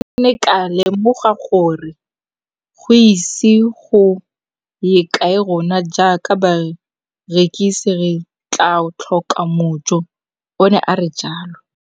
Ke ne ka lemoga gore go ise go ye kae rona jaaka barekise re tla tlhoka mojo, o ne a re jalo.